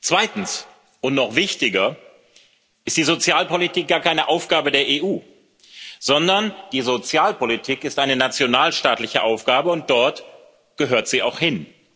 Zweitens und noch wichtiger ist die Sozialpolitik gar keine Aufgabe der EU, sondern die Sozialpolitik ist eine nationalstaatliche Aufgabe, und dort gehört sie auch hin.